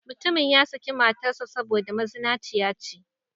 Mutumin ya saki matar sa saboda mazinaci ya ce.